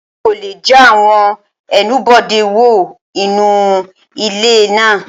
Àwọn olè já àwọn ẹnubodè wò Inu ilé náà.